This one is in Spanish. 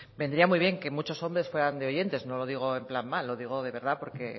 vendría muy bien que muchos hombres fueran de oyentes no lo digo en plan mal lo digo de verdad porque